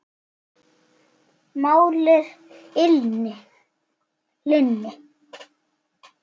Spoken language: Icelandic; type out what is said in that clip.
Mál er að linni.